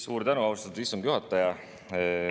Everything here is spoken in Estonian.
Suur tänu, austatud istungi juhataja!